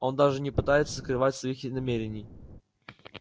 он даже не пытается скрывать своих и намерений